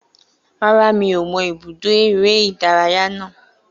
Rárá, mi ò mọ ibùdó eré-ìdárayá náà